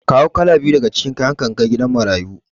Kawo kala biyu daga cikin kayanka in kai gidan marayu.